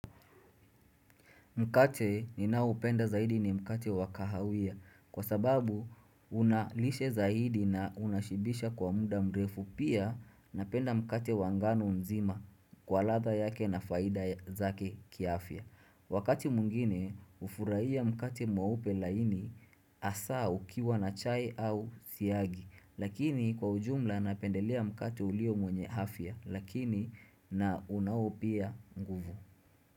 Mkate ninaoupenda zaidi ni mkate wakahawia kwa sababu unalishe zaidi na unashibisha kwa muda mrefu pia napenda mkate wanga ngano nzima kwa ladha yake na faida zake kiafya. Wakati mwingine ufurahia mkate mweupe upe laini asa ukiwa na chai au siagi lakini kwa ujumla napendelea mkate ulio mwenye afya lakini na unaopia nguvu.